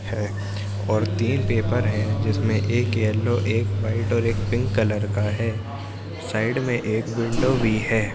है और तीन पेपर है जिसमें एक येलो एक वाइट और एक पिंक कलर का है साइड में एक विंडो भी है।